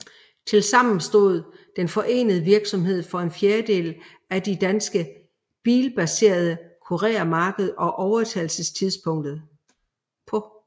Tilsammen stod den forenede virksomhed for en fjerdedel af det danske bilbaserede kurermarked på overtagelsestidspunktet